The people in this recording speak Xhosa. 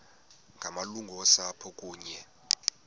ngamalungu osapho kunye